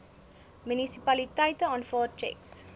munisipaliteite aanvaar tjeks